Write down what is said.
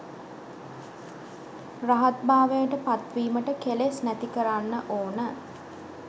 රහත් භාවයට පත්වීමට කෙලෙස් නැති කරන්න ඕන.